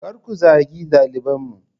Kar ku zagi dalibanmu!